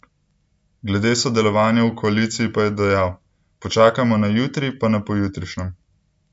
Glede sodelovanja v koaliciji pa je dejal: "Počakajmo na jutri, pa na pojutrišnjem.